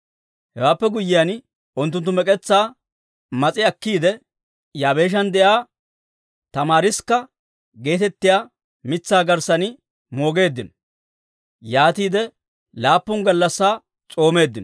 Hewaappe guyyiyaan, unttunttu mek'etsaa mas'i akkiide, Yaabeeshan de'iyaa tamaariskka geetettiyaa mitsaa garssan moogeeddino; yaatiide laappun gallassaa s'oomeeddino.